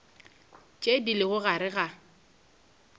tše di lego gare ga